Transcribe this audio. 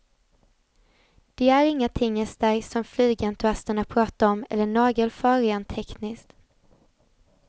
De är inga tingestar som flygentusiaster pratar om eller nagelfar rent tekniskt.